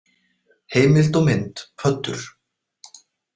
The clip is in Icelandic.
Heimild og mynd Pöddur.